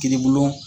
Kiiribulon